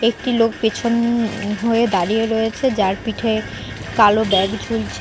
একটি লোক পেছন হয়ে দাঁড়িয়ে রয়েছে যার পিঠে কালো ব্যাগ ঝুলছে।